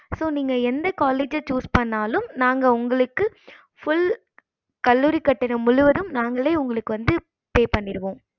so நீங்க எந்த college choose பண்ணாலும் நாங்க உங்களுக்கு full கல்லூரி கட்டணம் முழுவதும் நாங்களே உங்களுக்கு வந்து pay பண்ணிருவோம்